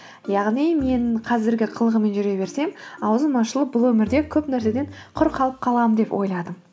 яғни мен қазіргі қылығыммен жүре берсем аузым ашылып бұл өмірде көп нәрседен құр қалып қаламын деп ойладым